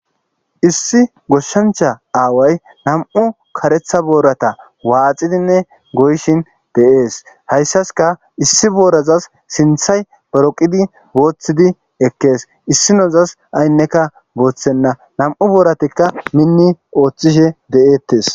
Issi goshshancha aaway nam'u karetha boorata waaxidinne goyshin de'ees hayssaska issi boorazas sinthay boroqidi booththidi ekkees issinozas aynneka booththenna nam7u booratikka minni ooththishe de'eettes.